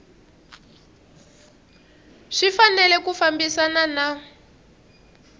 swi fanele ku fambisana na